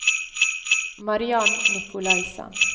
Mariann Nicolaisen